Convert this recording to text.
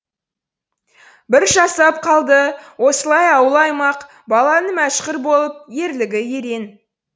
бір жасап қалды осылай ауыл аймақ баланың мәшһүр болып ерлігі ерен